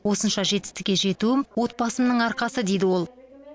осынша жетістікке жетуім отбасымның арқасы дейді ол